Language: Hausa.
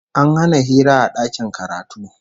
An hana hira a dakin karatu